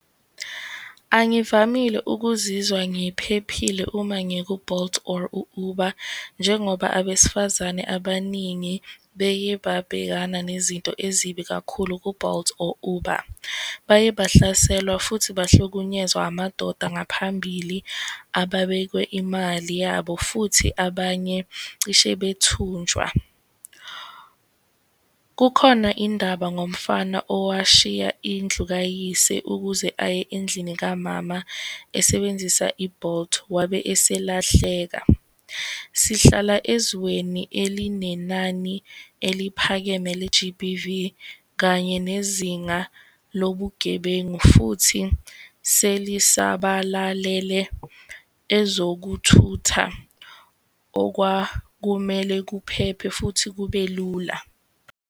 Angivamile ukuzizwa ngiphephile uma ngiku-Bolt or u-Uber, njengoba abesifazane abaningi beke babhekana nezinto ezibi kakhulu ku-Bolt or Uber. Baye bahlaselwa, futhi bahlukunyezwa amadoda ngaphambili ababekwe imali yabo, futhi abanye cishe bethunjwa. Kukhona indaba ngomfana owashiya indlu kayise ukuze aye endlini kamama esebenzisa i-Bolt, wabe eselahleka. Sihlala ezweni elinenani eliphakeme le-G_B_V, kanye nezinga lobugebengu, futhi selisabalalele ezokuthutha, okwakumele kuphephe futhi kube lula.